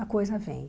A coisa vem.